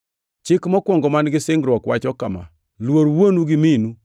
Chik mokwongo man-gi singruok wacho niya, “Luor wuonu gi minu